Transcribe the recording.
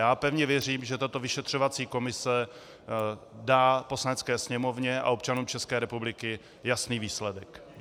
Já pevně věřím, že tato vyšetřovací komise dá Poslanecké sněmovně a občanům České republiky jasný výsledek.